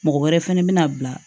Mɔgɔ wɛrɛ fɛnɛ bina bila